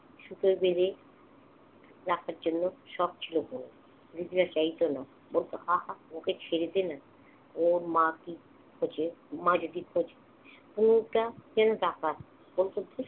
সুতোয় বেঁধে রাখার জন্য শখ ছিল তনুর। বুঝতে চাইত না। বলতো আহা! ওকে ছেড়ে দে না। ওর মাকে খোঁজে, মা যদি । তনুটা যেন ডাকাত, বলত ধ্যুত।